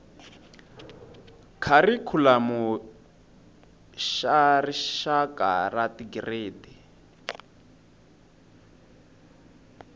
kharikhulamu xa rixaka xa tigiredi